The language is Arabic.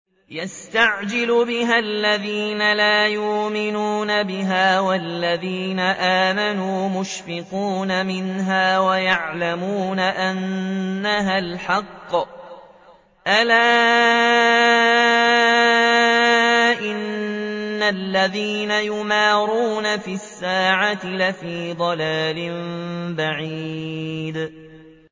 يَسْتَعْجِلُ بِهَا الَّذِينَ لَا يُؤْمِنُونَ بِهَا ۖ وَالَّذِينَ آمَنُوا مُشْفِقُونَ مِنْهَا وَيَعْلَمُونَ أَنَّهَا الْحَقُّ ۗ أَلَا إِنَّ الَّذِينَ يُمَارُونَ فِي السَّاعَةِ لَفِي ضَلَالٍ بَعِيدٍ